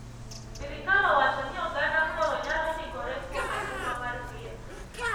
Sirkal owacho ni oganda koro nyalo ndikore kuom okumba mar thieth